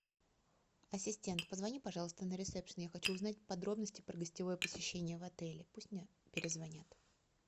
ассистент позвони пожалуйста на ресепшн я хочу узнать подробности про гостевое посещение в отеле пусть мне перезвонят